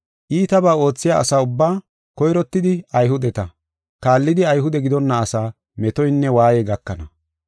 Iitabaa oothiya asa ubbaa, koyrottidi Ayhudeta, kaallidi Ayhude gidonna asaa metoynne waayey gakana.